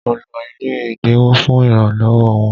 Mo lọ ilé ẹ̀dínwó fún ìrànlọ́wọ́ wọn